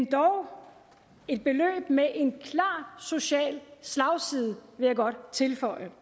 dog et beløb med en klar social slagside vil jeg godt tilføje